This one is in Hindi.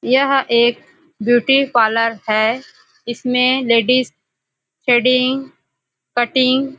यह एक ब्यूटी पार्लर है इसमें लेडीज थ्रेडिंग कटिंग --